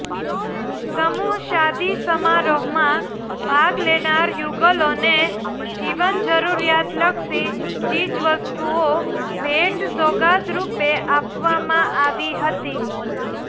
સમૂહ શાદી સમારોહમાં ભાગ લેનાર યુગલોને જીવન જરૃરિયાતલક્ષી ચીજવસ્તુઓ ભેટ સોગાદરૃપે આપવામાં આવી હતી